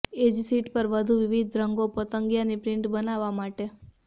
એ જ શીટ પર વધુ વિવિધ રંગો પતંગિયા ની પ્રિન્ટ બનાવવા માટે